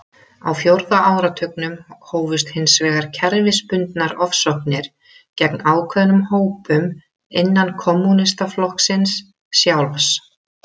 Á fjórða áratugnum hófust hins vegar kerfisbundnar ofsóknir gegn ákveðnum hópum innan kommúnistaflokksins sjálfs.